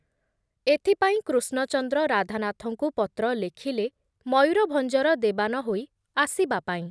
ଏଥପାଇଁ କୃଷ୍ଣଚନ୍ଦ୍ର ରାଧାନାଥଙ୍କୁ ପତ୍ର ଲେଖିଲେ ମୟୂରଭଞ୍ଜର ଦେବାନ ହୋଇ ଆସିବାପାଇଁ ।